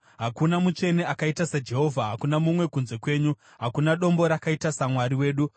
“Hakuna mutsvene akaita saJehovha; hakuna mumwe kunze kwenyu; hakuna Dombo rakaita saMwari wedu.